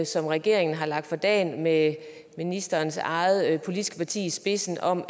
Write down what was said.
som regeringen har lagt for dagen med ministerens eget politiske parti i spidsen om